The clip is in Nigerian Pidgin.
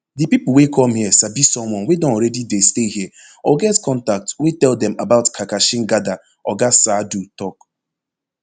di people wey come here sabi someone wey don already dey stay here or get contact wey tell dem about karkashin gada oga saadu tok